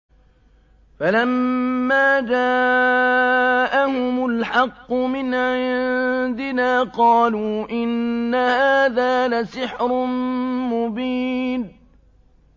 فَلَمَّا جَاءَهُمُ الْحَقُّ مِنْ عِندِنَا قَالُوا إِنَّ هَٰذَا لَسِحْرٌ مُّبِينٌ